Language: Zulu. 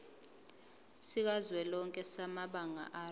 sikazwelonke samabanga r